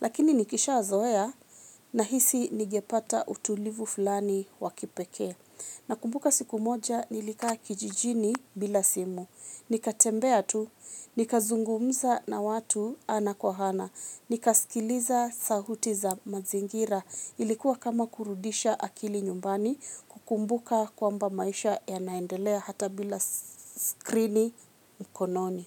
Lakini nikishazoea nahisi ningepata utulivu fulani wa kipekee. Nakumbuka siku moja, nilikaa kijijini bila simu. Nikatembea tu, nikazungumza na watu ana kwa ana. Nikaskiliza sauti za mazingira. Ilikuwa kama kurudisha akili nyumbani, kukumbuka kwamba maisha yanaendelea hata bila skrini mkononi.